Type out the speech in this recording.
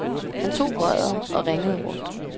Han tog røret og ringede rundt.